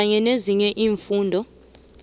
kanye nezinye iimfundo